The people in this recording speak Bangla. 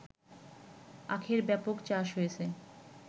আখের ব্যাপক চাষ হচ্ছে